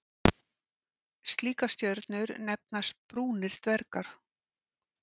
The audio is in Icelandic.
Slíkar stjörnur nefnast brúnir dvergar.